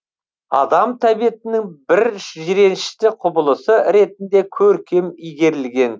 адам тәбетінің бір жиренішті құбылысы ретінде көркем игерілген